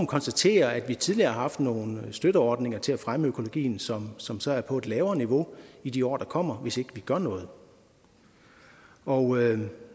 konstatere at vi tidligere har haft nogle støtteordninger til at fremme økologien som som så er på et lavere niveau i de år der kommer hvis vi ikke gør noget og